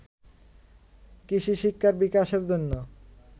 কৃষিশিক্ষার বিকাশের জন্য